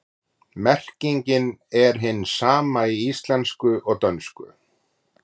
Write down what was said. Merkingin er hin sama í íslensku og dönsku.